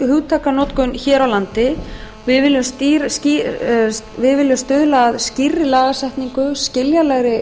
hugtakanotkun hér á landi við viljum stuðla að skýrri lagasetningu skiljanlegri